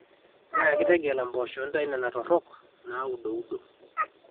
nyaaki tegela impoosho intau nena torrok naauduudo